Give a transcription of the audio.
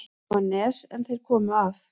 Þar var nes er þeir komu að.